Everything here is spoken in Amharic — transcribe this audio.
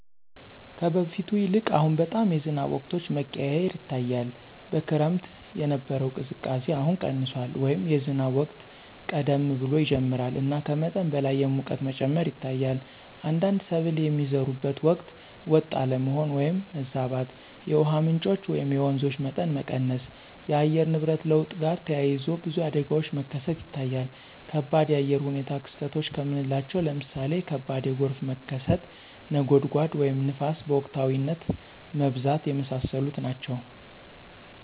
ከበፊቱ ይልቅ አሁን በጣም የዝናብ ወቅቶች መቀያየር ይታያል። በክረምት የነበረው ቅዝቃዜ አሁን ቀንሷል” ወይም “የዝናብ ወቅት ቀደም ብሎ ይጀምራል እና ከመጠን በላይ የሙቀት መጨመር ይታያል። አንዳንድ ሰብል የሚዘሩበት ወቅት ወጥ አለመሆን (ማዛባት)።የውሃ ምንጮች (የወንዞች) መጠን መቀነስ። ከአየር ንብረት ለውጥ ጋር ተያይዞ ብዙ አደጋዎች መከሰት ይታያል ከባድ የአየር ሁኔታ ክስተቶች ከምናለቸው ለምሳሌ ከባድ ጎርፍ መከሰት፣ (ነጎድጓድ) ወይም ንፋስ በወቅታዊነት መብዛት። የመሳሰሉት ናቸው።